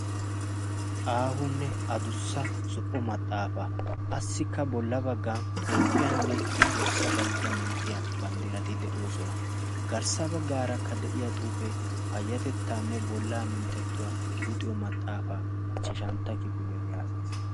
aahunne a dussa zo77o maxaafaa assikka bolla baggan toophphiyaanne toossa dalgga manttiya banddirati de7oosona garssa baggaarakka de7iya xuufee payyatettaanne bollaa minttettuwaa luxiyo maxaafaa ichchashantta kiifiliyaa yaagees